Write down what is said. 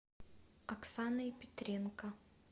оксаной петренко